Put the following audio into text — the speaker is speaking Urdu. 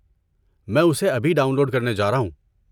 میں اسے ابھی ڈاؤن لوڈ کرنے جا رہا ہوں۔